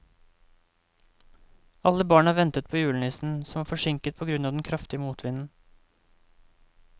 Alle barna ventet på julenissen, som var forsinket på grunn av den kraftige motvinden.